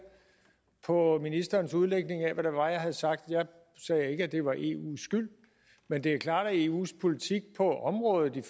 på ministerens udlægning af hvad det var jeg havde sagt jeg sagde ikke at det var eus skyld men det er klart at eus politik på området i